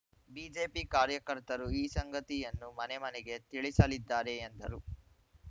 BJP ಕಾರ್ಯಕರ್ತರು ಈ ಸಂಗತಿಯನ್ನು ಮನೆ ಮನೆಗೆ ತಿಳಿಸಲಿದ್ದಾರೆ ಎಂದರು